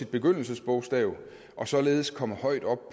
begyndelsesbogstav og således komme højt op